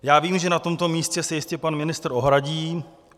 Já vím, že na tomto místě se jistě pan ministr ohradí.